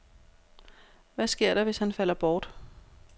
Hvad sker der, hvis han falder bort?